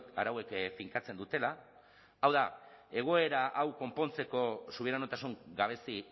arauek finkatzen dutela hau da egoera hau konpontzeko subiranotasun gabezi